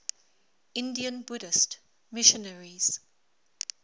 indian buddhist missionaries